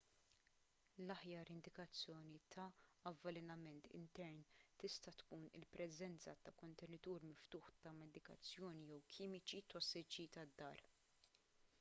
l-aħjar indikazzjoni ta' avvelenament intern tista' tkun il-preżenza ta' kontenitur miftuħ ta' medikazzjoni jew kimiċi tossiċi tad-dar